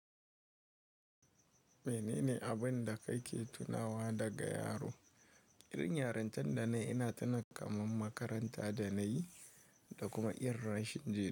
Menene abin da ka ke tunawa daga yaro? Irin yarintar da nayi ina tuna kamar makaranta da na yi da kuma irin rashin ji.